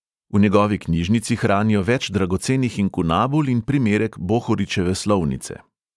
V njegovi knjižnici hranijo več dragocenih inkunabul in primerek bohoričeve slovnice.